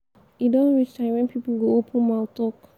e don reach time wen people go open mouth talk.